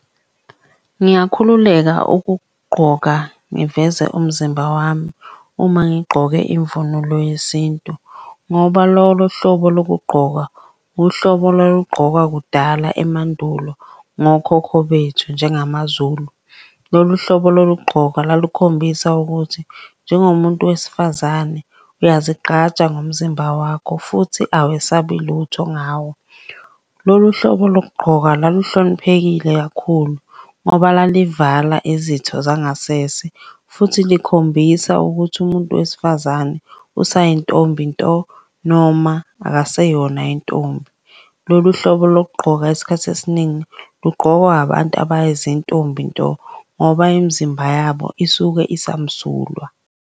Ngingakhululeka ukugqoka ngiveze umzimba wami uma ngigqoke imvunulo yesintu ngoba lolo hlobo lokugqoka, uhlobo olwalugqokwa kudala emandulo ngokhokho bethu njengamaZulu. Lolu hlobo lokugqoka lalukhombisa ukuthi njengomuntu wesifazane uyazigqaja ngomzimba wakho futhi awesabi lutho ngawo. Lolu hlobo lokuqoka laluhloniphekile kakhulu ngoba lalivala izitho zangasese, futhi likhombisa ukuthi umuntu wesifazane usayintombi nto noma akaseyona intombi. Lolu hlobo lokugqoka isikhathi esiningi lugqokwa abantu abayizintombi nto ngoba imizimba yabo isuke isamsulwa.